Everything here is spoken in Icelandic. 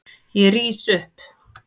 Ég rís upp.